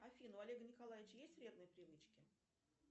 афина у олега николаевича есть вредные привычки